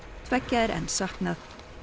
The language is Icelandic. tveggja er enn saknað